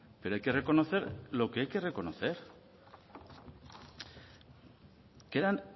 pero hay que reconocer lo que hay que reconocer que eran